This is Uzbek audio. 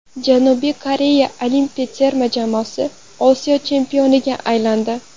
Janubiy Koreya olimpiya terma jamoasi Osiyo chempioniga aylandi.